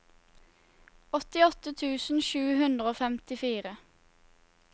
åttiåtte tusen sju hundre og femtifire